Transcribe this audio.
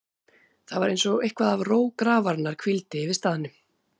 Það var einsog eitthvað af ró grafarinnar hvíldi yfir staðnum.